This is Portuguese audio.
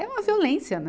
É uma violência, né?